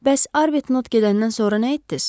Bəs Arbutnot gedəndən sonra nə etdiz?